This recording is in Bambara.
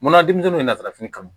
Munna denmisɛnninw ye laturu kanu